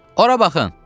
Ora baxın.